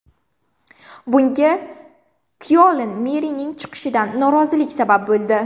Bunga Kyoln merining chiqishidan norozilik sabab bo‘ldi.